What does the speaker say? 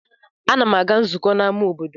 Ana m aga nzukọ n'ama obodo.